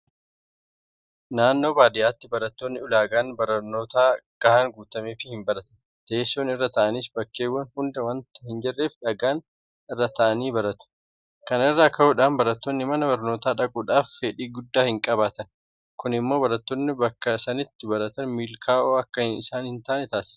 Naannoo baadiyyaatti barattoonni ulaagaan barnootaa gahaan guutameefii hinbaratan. Teessoon irra taa'anis bakkeewwan hunda waanta hinjirreef dhagaa irra taa'anii baratu. Kana irraa ka'uudhaan barattoonni mana barnootaa dhaquudhaaf fedhii guddaa hinqabaatan. Kun immoo barattoonni bakka sanatti baratan milkaa'oo akka isaan hintaane taasisa.